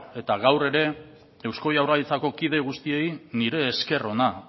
eta gaur ere eusko jaurlaritzako kide guztiei nire esker ona